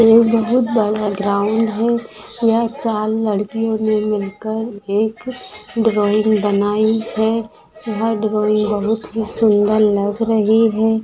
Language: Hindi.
ये बहुत बड़ा ग्राउंड है यहाँ चार लड़कियों ने मिलकर एक ड्रॉइंग बनाई है वह ड्रॉईंग बहुत ही सुंदर लग रही है।